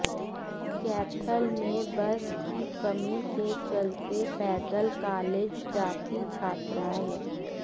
कैथल में बस की कमी के चलते पैदल कालेज जाती छात्राएं